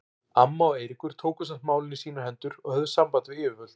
Amma og Eiríkur tóku samt málin í sínar hendur og höfðu samband við yfirvöld.